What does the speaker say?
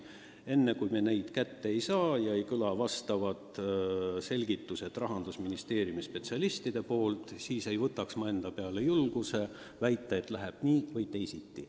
Enne, kui meil need käes ei ole ja me pole kuulnud Rahandusministeeriumi spetsialistide selgitusi, ei võtaks ma endale julgust väita, et läheb nii või teisiti.